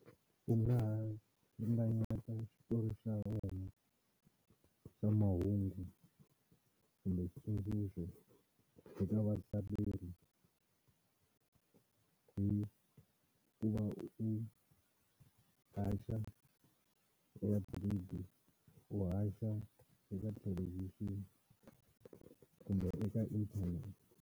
U nga ha ringanyeta xitori xa wena xa mahungu kumbe xitsundzuxo eka vahlaleri hi ku va u haxa eka ti-radio u haxa eka thelevhixini kumbe eka internet.